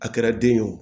A kɛra den ye wo